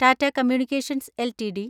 Tata communications LTD